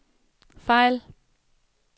fejl